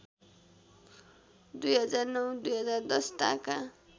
२००९ २०१० ताका